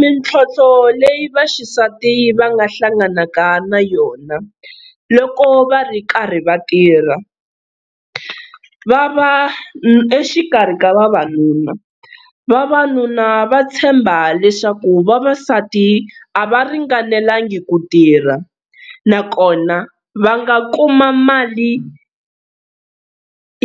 Mintlhontlho leyi vaxisati va nga hlanganaka na yona loko va ri karhi va tirha, va va exikarhi ka vavanuna, vavanuna va tshemba leswaku vavasati a va ringanelangi ku tirha nakona va nga kuma mali